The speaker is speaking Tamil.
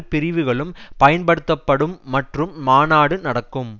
பிரிவுகளும் பயன்படுத்தப்படும் மற்றும் மாநாடு நடக்கும்